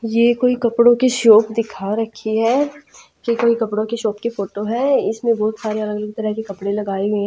ये कोई कपड़ों की शॉप दिखा रखी है ये कोई कपड़ों की शॉप की फोटो है इसमें बहुत तरह के कपड़े लगाए हुए हैं।